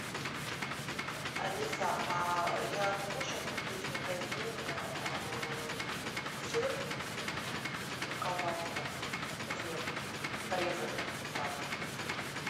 алиса а я могу сейчас купить в магазине сыр и колбаску и хлеб порезанные сразу же